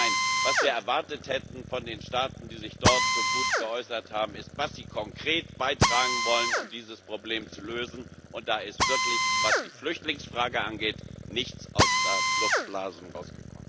Nein, was wir von den Staaten, die sich dort so gut geäußert haben, erwartet hätten, ist, was sie konkret beitragen wollen, um dieses Problem zu lösen, und da ist wirklich, was die Flüchtlingsfrage angeht, nichts außer Luftblasen herausgekommen.